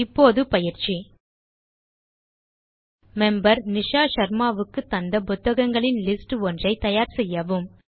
இப்போது பயிற்சி மெம்பர் நிஷா ஷர்மா வுக்கு தந்த புத்தகங்களின் லிஸ்ட் ஒன்றை தயார் செய்யவும்